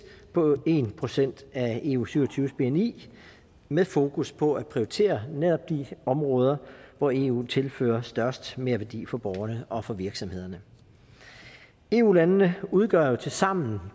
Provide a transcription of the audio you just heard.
på en procent af eu syv og tyve bni med fokus på at prioritere netop de områder hvor eu tilfører størst merværdi for borgerne og for virksomhederne eu landene udgør jo tilsammen